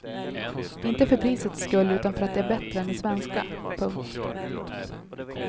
Inte för prisets skull utan för att det är bättre än det svenska. punkt